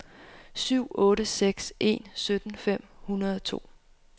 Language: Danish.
syv otte seks en sytten fem hundrede og to